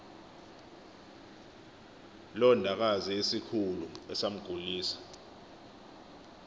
londakazi esikhulu esamgulisa